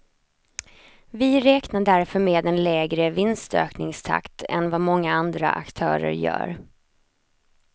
Vi räknar därför med en lägre vinstökningstakt än vad många andra aktörer gör.